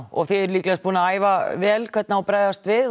og þið eruð líklegast búin að æfa vel hvernig á að bregðast við